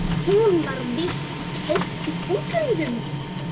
Hún var víst keypt í útlöndum.